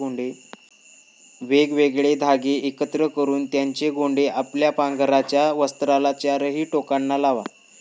वेगवेगळे धागे एकत्र करुन त्यांचे गोंडे आपल्या पांघरायच्या वस्त्राला चारीही टोकांना लावा.